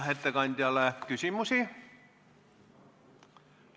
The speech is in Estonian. Kas ettekandjale on küsimusi?